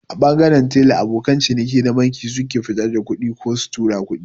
A ɓangaren tela abokan ciniki na banki suke fitar da kuɗi ko su tura kuɗi